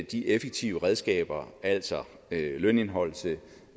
de effektive redskaber altså lønindeholdelse